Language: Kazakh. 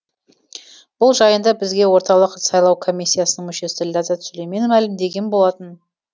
бұл жайында бізге орталық сайлау комиссиясының мүшесі ләззат сүлеймен мәлімдеген болатын